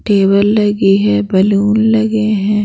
Table लगी है balloon लगे है।